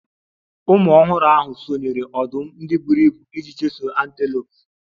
Ụmụ ọhụrụ ahụ sonyeere ọdụm ndị buru ibu iji chụsoo antelopes. Ụmụ ọh